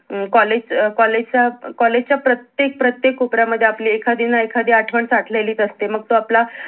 अं college च college च्या प्रत्येक प्रत्येक कोपर्या मध्ये आपली एखादी न एखादी आठवण साठलेलीच असते मग तो आपला